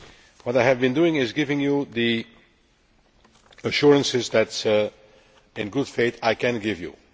What I have been doing is giving you the assurances that in good faith I can give you.